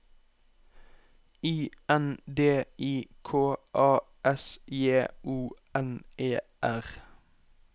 I N D I K A S J O N E R